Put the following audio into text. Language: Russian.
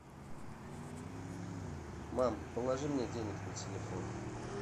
мам положи мне денег на телефон